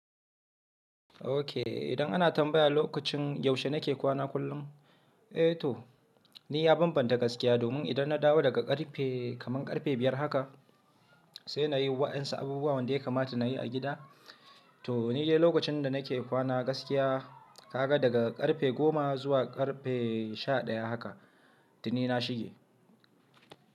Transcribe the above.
Okay, idan ana tambaya lokacin yaushe nake kwana kullum? Eh to, ni ya banbanta gaskiya domin idan na dawo daga ƙarfe kaman ƙarfe biyar haka sai na yi waɗansu abubuwan da ya kamata na yi a gida. To ni dai lokacin da nake kwana gaskiya ka ga daga ƙarfe goma zuwa ƙarfe sha ɗaya haka, to ni na shige.